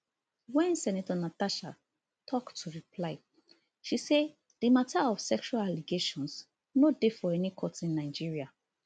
wen senator natasha tok to reply she say di matter of sexual allegations no dey for any court in nigeria